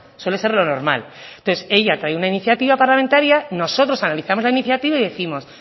suele ser lo normal entonces ella trae una iniciativa parlamentaria nosotros analizamos la iniciativa y décimos